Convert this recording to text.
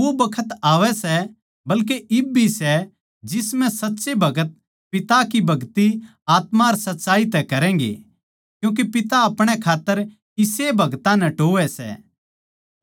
पर वो बखत आवै सै बल्कि इब भी सै जिसम्ह साच्चे भगत पिता की भगति आत्मा अर सच्चाई तै करैगें क्यूँके पिता अपणे खात्तर इसेए भगतां नै टोहवै सै